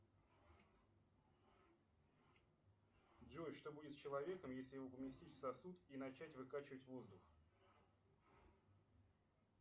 джой что будет с человеком если его поместить в сосуд и начать выкачивать воздух